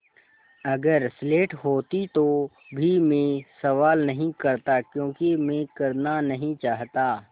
अगर स्लेट होती तो भी मैं सवाल नहीं करता क्योंकि मैं करना नहीं चाहता